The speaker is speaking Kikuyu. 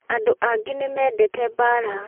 Andũ angĩ nĩ mendete mbaara